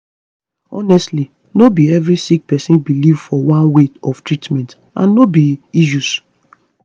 honestly no be be every sick pesin belief for one way of treatment and no be issues